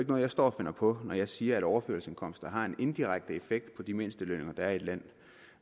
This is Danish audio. noget jeg står og finder på når jeg siger at overførselsindkomster har en indirekte effekt på de mindstelønninger der er i et land